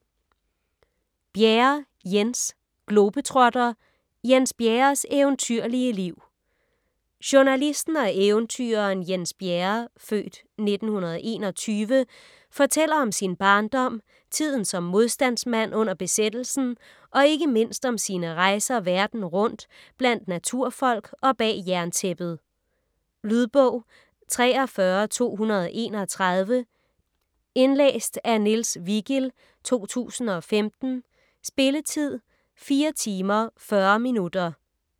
Bjerre, Jens: Globetrotter: Jens Bjerres eventyrlige liv Journalisten og eventyreren Jens Bjerre (f. 1921) fortæller om sin barndom, tiden som modstandsmand under besættelsen og ikke mindst om sine rejser verden rundt, blandt naturfolk og bag jerntæppet. Lydbog 43231 Indlæst af Niels Vigild, 2015. Spilletid: 4 timer, 40 minutter.